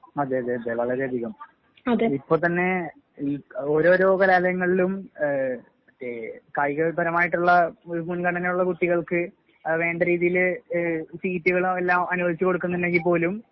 അതെ അതെ അതെ വളരെയധികം. ഇപ്പൊത്തന്നെ ഈ ഓരോരോ കലാലയങ്ങളിലും ഏഹ് മറ്റേ കായികപരമായിട്ടുള്ള ഒരു മുൻഗണനയുള്ള കുട്ടികൾക്ക് ആ വേണ്ടരീതീല് ഏഹ് സീറ്റുകള് അതെല്ലാം അനുവദിച്ച് കൊടുക്കുന്നുണ്ടെങ്കിൽ പോലും